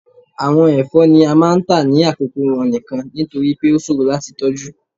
Awọn ẹfọ ni a máà ń ta ni akoko wọn nikan, nitori pe o ṣoro lati tọju.